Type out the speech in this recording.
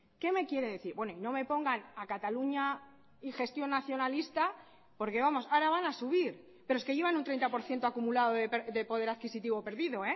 qué me quiere decir bueno y no me pongan a cataluña y gestión nacionalista porque vamos ahora van a subir pero es que llevan un treinta por ciento acumulado de poder adquisitivo perdido